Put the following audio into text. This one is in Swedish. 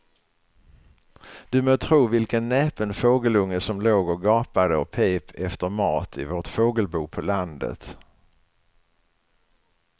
Du må tro vilken näpen fågelunge som låg och gapade och pep efter mat i vårt fågelbo på landet.